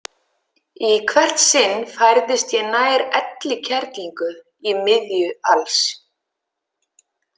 Í hvert sinn færðist ég nær Elli kerlingu í miðju alls.